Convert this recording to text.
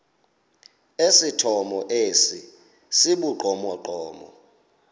esithomo esi sibugqomogqomo